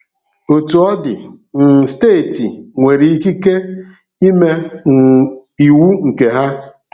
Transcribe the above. Otú ọ dị, um steeti nwere ikike ịme um iwu nke ha.